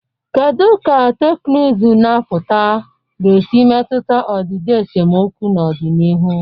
Kedu ka teknụzụ na-apụta ga-esi metụta ọdịdị esemokwu n'ọdịnihu?